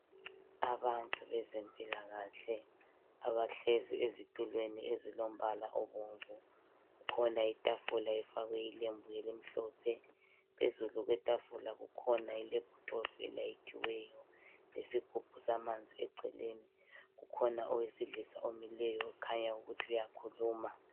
Abantu bezempilakahle abahlezi ezitulweni ezilombala obomvu. Kukhona itafula efakwe ilembu elimhlophe phezulu kwetafula kukhona ilephuthophu elayithiweyo lesigubhu samanzi eceleni, kukhona owesilisa omileyo kukhanya ukuthi uyakhuluma.